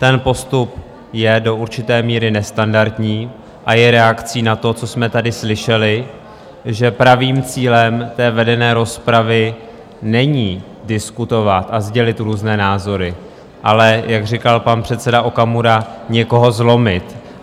Ten postup je do určité míry nestandardní a je reakcí na to, co jsme tady slyšeli, že pravým cílem té vedené rozpravy není diskutovat a sdělit různé názory, ale, jak říkal pan předseda Okamura, někoho zlomit.